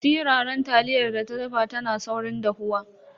Siraran taliyar da ta dafa tana saurin dahuwa.